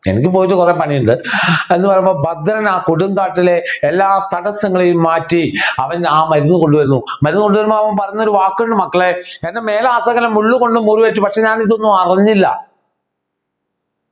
എനിക്ക് പോയിട്ട് കുറെ പണിയുണ്ട് എന്ന് പറയുമ്പോൾ ഭദ്രൻ ആ കൊടുങ്കാട്ടിലെ എല്ലാ തടസ്സങ്ങളെയും മാറ്റി അവൻ ആ മരുന്ന് കൊണ്ടുവരുന്നു മരുന്ന് കൊണ്ടു വരുമ്പോൾ അവൻ പറയുന്ന ഒരു വാക്ക് ഉണ്ട് മക്കളെ എൻ്റെ മേലാസകലം മുള്ളുകൊണ്ടു മുറിവേറ്റു പക്ഷേ ഞാനിതൊന്നും അറിഞ്ഞില്ല